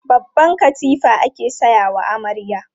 Babban katifa ake sayawa amarya.